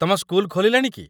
ତୁମ ସ୍କୁଲ ଖୋଲିଲାଣି କି?